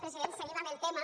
president seguim amb el tema